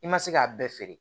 I ma se k'a bɛɛ feere